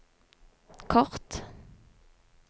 kort